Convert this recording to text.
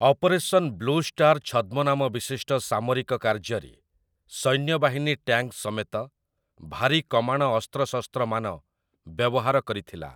Operation blue star' ଛଦ୍ମନାମ ବିଶିଷ୍ଟ ସାମରିକ କାର୍ଯ୍ୟରେ, ସୈନ୍ୟବାହିନୀ ଟ୍ୟାଙ୍କ୍ ସମେତ ଭାରୀ କମାଣ ଅସ୍ତ୍ରଶସ୍ତ୍ରମାନ ବ୍ୟବହାର କରିଥିଲା ।